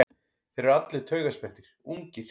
Þeir eru allir taugaspenntir, ungir.